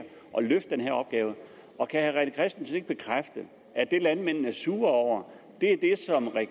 løfte den her opgave kan herre rené christensen ikke bekræfte at det landmændene er sure over